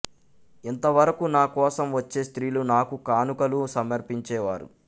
ఇంత వరకు నా కోసం వచ్చే స్త్రీలు నాకు కానుకలు సమర్పించే వారు